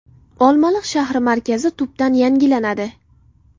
Olmaliq shahri markazi tubdan yangilanadi.